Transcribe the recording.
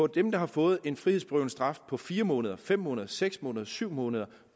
dem der har fået en frihedsberøvende straf på fire måneder fem måneder seks måneder syv måneder